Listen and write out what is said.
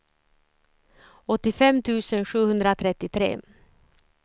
åttiofem tusen sjuhundratrettiotre